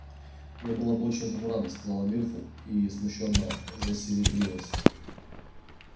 я была бы очень этому рада сказала миртл и смущённо засеребрилась